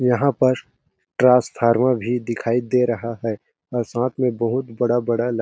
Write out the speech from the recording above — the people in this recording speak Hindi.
यहाँ पर ट्रासफार्मर भी दिखाई दे रहा है और साथ में बहुत बड़ा-बड़ा ला --